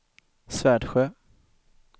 Svärdsjö